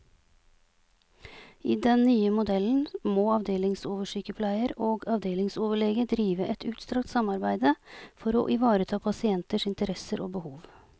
I den nye modellen må avdelingsoversykepleier og avdelingsoverlege drive et utstrakt samarbeide for å ivareta pasienters interesser og behov.